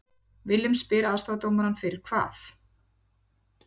Willum spyr aðstoðardómarann fyrir hvað????